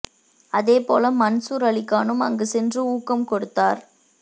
அதே போல மன்சூர் அலிகானும் அங்கு சென்று ஊக்கம் கொடுத்தார்